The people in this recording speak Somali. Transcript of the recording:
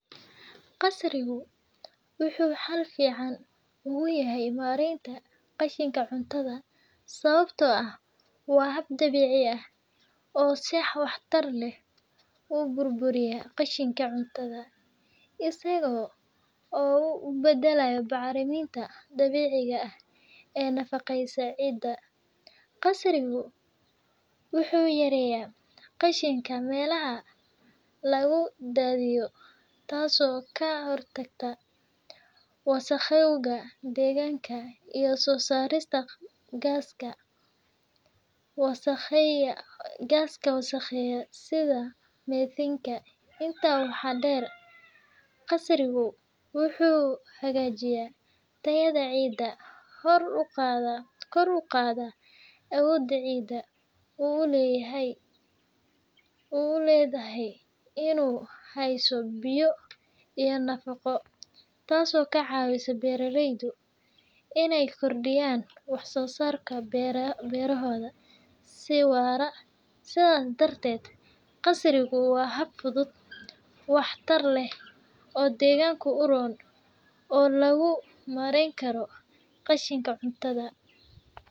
Qasrigu wuxuu xal fiican ugu yahay maaraynta qashinka cuntada sababtoo ah waa hab dabiici ah oo si waxtar leh u burburiya qashinka cuntada, isaga oo u beddelaya bacriminta dabiiciga ah ee nafaqeysa ciidda. Qasrigu wuxuu yareeyaa qashinka meelaha lagu daadiyo, taasoo ka hortagta wasakhowga deegaanka iyo soo saarista gaaska wasakheeya sida medhenka. Intaa waxaa dheer, qasrigu wuxuu hagaajiyaa tayada ciidda, kor u qaadaa awoodda ciiddu u leedahay inay hayso biyo iyo nafaqo, taasoo ka caawisa beeralayda inay kordhiyaan wax-soo-saarka beerahooda si waara. Sidaas darteed, qasrigu waa hab fudud, waxtar leh, oo deegaanka u roon oo lagu maarayn karo qashinka cuntada.